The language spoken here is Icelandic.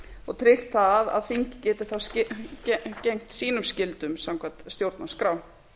og tryggt það að þingið geti gegnt sínum skyldum samkvæmt stjórnarskrá